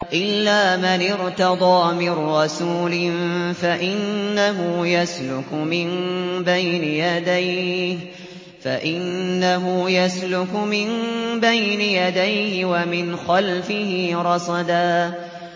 إِلَّا مَنِ ارْتَضَىٰ مِن رَّسُولٍ فَإِنَّهُ يَسْلُكُ مِن بَيْنِ يَدَيْهِ وَمِنْ خَلْفِهِ رَصَدًا